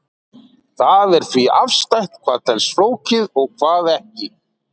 Það er því afstætt hvað telst flókið og hvað ekki.